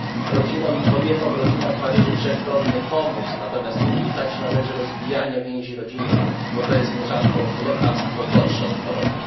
Rodzinom i kobietom w rodzinach należy wszechstronnie pomóc, natomiast unikać należy rozbijania więzi rodzinnych, bo to jest nierzadko lekarstwo gorsze od choroby.